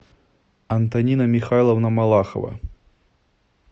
антонина михайловна малахова